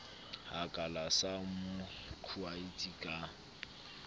hakala sa mo qhautsa ka